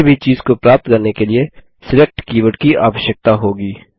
किसी भी चीज़ को प्राप्त करने के लिए सिलेक्ट कीवर्ड की आवश्यकता होगी